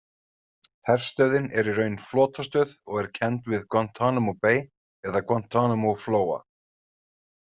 Herstöðin er í raun flotastöð og er kennd við Guantánamo Bay eða Guantánamo-flóa.